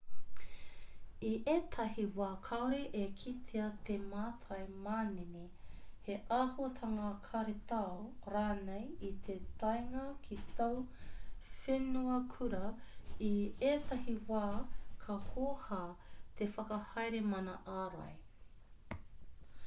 i ētahi wā kāore e kitea te mātai manene he āhuatanga karetao rānei i te taenga ki tōu whenuakura i ētahi wā ka hōhā te whakahaere mana ārai